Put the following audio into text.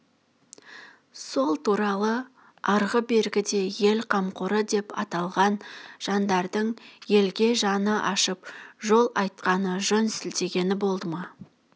сол туралы арғы бергіде ел қамқоры деп аталған жандардың елге жаны ашып жол айтқаны жөн сілтегені болды ма